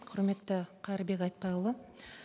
құрметті қайырбек айтбайұлы